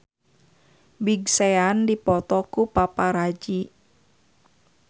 Big Sean dipoto ku paparazi